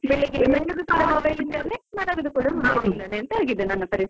ಕೂಡ Mobile ಇಂದಾನೆ ಮಲಗುದು ಕೂಡ mobile ಇಂದಾನೆ ಆಗಿದೆ ಅಂತ ನನ್ನ ಪರಿಸ್ಥಿತಿ .